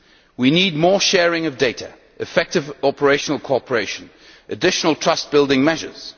We need more sharing of data, effective operational cooperation and additional trust-building measures.